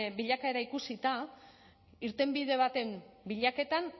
bilakaera ikusita irtenbide baten bilaketan